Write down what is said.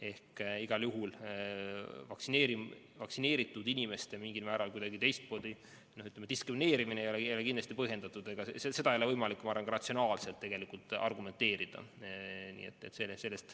Ehk igal juhul vaktsineeritud inimeste kuidagi diskrimineerimine ei ole kindlasti põhjendatud ja ega seda ei ole võimalik ka ratsionaalselt argumenteerida.